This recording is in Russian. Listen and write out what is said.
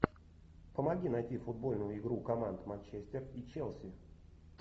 помоги найти футбольную игру команд манчестер и челси